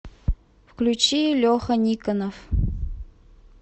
включи леха никонов